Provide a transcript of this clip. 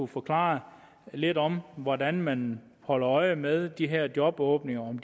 forklare lidt om hvordan man holder øje med de her jobåbninger om